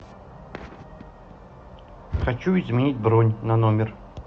хочу изменить бронь на номер